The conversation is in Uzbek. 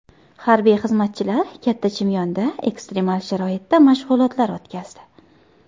Harbiy xizmatchilar Katta Chimyonda ekstremal sharoitda mashg‘ulotlar o‘tkazdi .